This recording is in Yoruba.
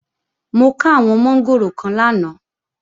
Mo ká àwọn mọ́ngòrò kan lánàá